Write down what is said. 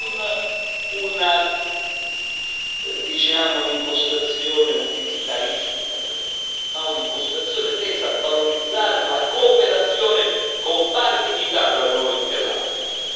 Non un'impostazione utilitaristica per noi ma un'impostazione tesa a valorizzare la cooperazione, con pari dignità, tra noi e l'Africa.